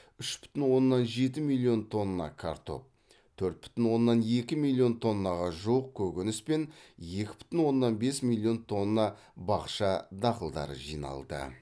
үш бүтін оннан жеті миллион тонна картоп төрт бүтін оннан екі миллион тоннаға жуық көкөніс пен екі бүтін оннан бес миллион тонна бақша дақылдары жиналды